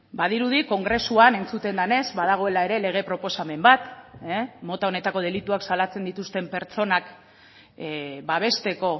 badirudi kongresuan entzuten denez badagoela ere lege proposamen bat mota honetako delituak salatzen dituzten pertsonak babesteko